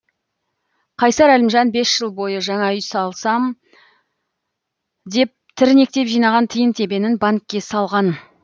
қайсар әлімжан бес жыл бойы жаңа үй алсам деп тірнектеп жинаған тиын тебенін банкке салған